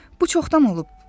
Bu çoxdan olub.